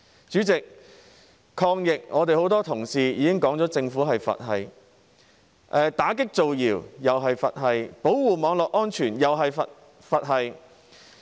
主席，很多同事已經提到，抗疫方面政府是"佛系"，打擊造謠又是"佛系"，保護網絡安全又是"佛系"。